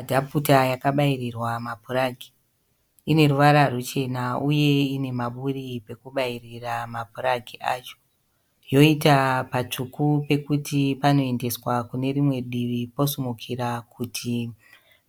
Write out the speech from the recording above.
Adhaputa yakabairirwa ma puragi. Ineruvara ruchena uye ine maburi pekubairira mapuragi acho. Yoita patsvuku pekuti panoendeswa kunerimwe divi posimukira kuti